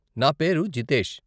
నా పేరు జితేష్ .